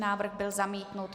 Návrh byl zamítnut.